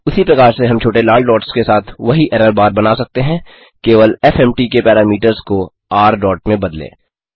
उसी प्रकार से हम छोटे लाल डॉट्स के साथ वही एरर बार बना सकते हैं केवल एफएमटी के पैरामीटर्स को र डॉट में बदलें